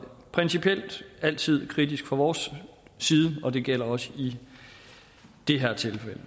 principielt altid kritiske fra vores side og det gælder også i det her tilfælde